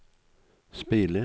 speile